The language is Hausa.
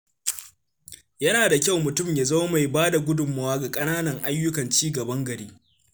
Yana da kyau mutum ya zama mai ba da gudunmawa ga ƙananan ayyukan ci gaban gari.